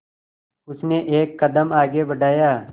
उसने एक कदम आगे बढ़ाया